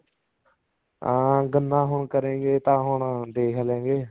ਹਾਂ ਗੰਨਾ ਹੁਣ ਕਰੇਂਗੇ ਤਾਂ ਹੁਣ ਦੇਖਲੇਂਗੇ